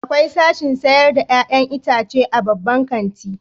Akwai sashin sayar da 'ya'yan itace a babban kanti.